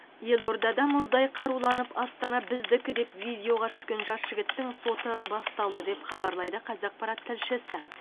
елордада мұздай қаруланып астана біздікі деп видеоға түскен жас жігіттің соты басталды деп хабарлайды қазақпарат тілшісі